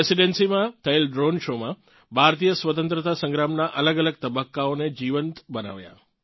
રેસીડન્સીમાં થયેલ દ્રોણે Showમાં ભારતીય સ્વતંત્રતા સંગ્રામનાં અલગઅલગ તબક્કાઓને જીવંત બનાવ્યા